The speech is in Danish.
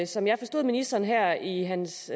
som jeg forstod ministeren her i hans